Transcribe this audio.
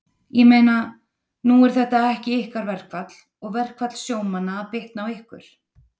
Ég meina, nú er þetta ekki ykkar verkfall og verkfall sjómanna að bitna á ykkur?